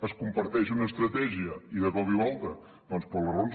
es comparteix una estratègia i de cop i volta doncs per les raons